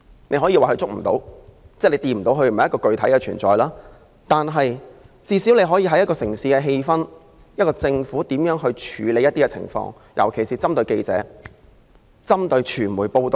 你可以說它觸摸不到，不是具體的存在，但你最少可以從一個城市的氣氛，感受到這個城市是否擁有這種自由。